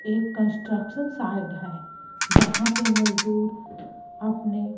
एक construction site है जहां पे मजदूर अपने--